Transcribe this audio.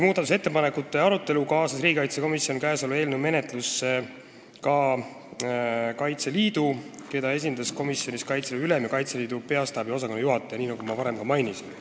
Arutellu kaasas riigikaitsekomisjon ka Kaitseliidu, keda esindas komisjonis Kaitseliidu ülem ja Kaitseliidu Peastaabi osakonnajuhataja, nii nagu ma varem mainisin.